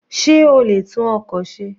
Sé o lè tún ọkọ̀ ṣe?